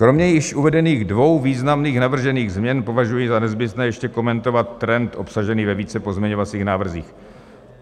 Kromě již uvedených dvou významných navržených změn považuji za nezbytné ještě komentovat trend obsažený ve více pozměňovacích návrzích.